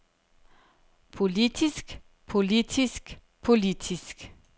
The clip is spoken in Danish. politisk politisk politisk